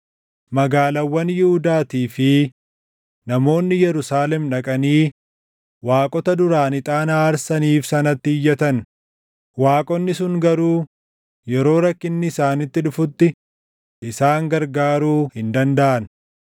Magaalaawwan Yihuudaatii fi namoonni Yerusaalem dhaqanii waaqota duraan ixaana aarsaniif sanatti iyyatan; waaqonni sun garuu yeroo rakkinni isaanitti dhufutti isaan gargaaruu hin dandaʼan.